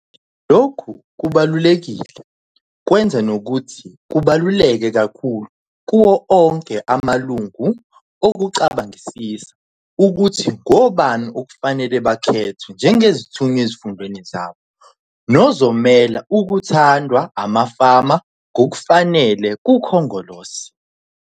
Lokhu kubalulekile kwenza nokuthi kubaluleke kakhulu kuwo onke amalungu ukucabangisisa ukuthi ngobani okufanele bakhethwe njengezithunywa ezifundeni zabo nozomela okuthandwa amafama ngokufanele kuKhongolose.